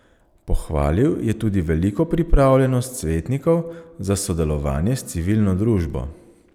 Pohvalil je tudi veliko pripravljenost svetnikov za sodelovanje s civilno družbo.